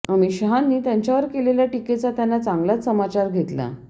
अमित शहांनी त्यांच्यावर केलेल्या टीकेचा त्यांना चांगलाच समाचार घेतला